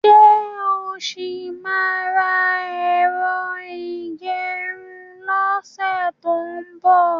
Ṣé o ṣì máa ra ẹ̀rọ ìgẹrun lọ́sẹ̀ tó ń bọ̀?